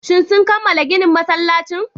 Shin sun kammala ginin masallacin